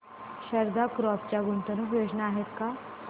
Sharda crop च्या गुंतवणूक योजना आहेत का